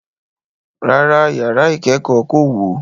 Rárá, yàrá ìkẹ́kọ̀ọ́ kò wó.